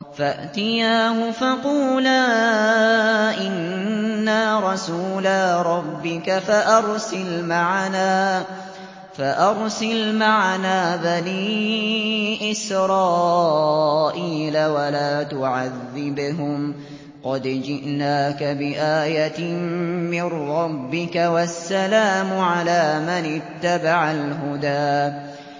فَأْتِيَاهُ فَقُولَا إِنَّا رَسُولَا رَبِّكَ فَأَرْسِلْ مَعَنَا بَنِي إِسْرَائِيلَ وَلَا تُعَذِّبْهُمْ ۖ قَدْ جِئْنَاكَ بِآيَةٍ مِّن رَّبِّكَ ۖ وَالسَّلَامُ عَلَىٰ مَنِ اتَّبَعَ الْهُدَىٰ